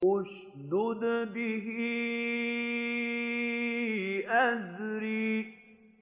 اشْدُدْ بِهِ أَزْرِي